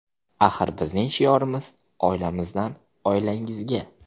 Axir bizning shiorimiz: oilamizdan oilangizga.